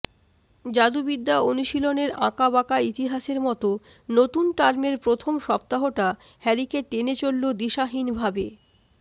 জাদুবিদ্যা অনুশীলনের আঁকাবাঁকা ইতিহাসের মত নতুন টার্মের প্রথম সপ্তাহটা হ্যারিকে টেনে চলল দিশাহীনভাবে